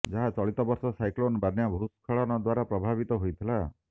ଯାହା ଚଳିତ ବର୍ଷ ସାଇକ୍ଲୋନ୍ ବନ୍ୟା ଭୂସ୍ଖଳନ ଦ୍ୱାରା ପ୍ରଭାବିତ ହୋଇଥିଲା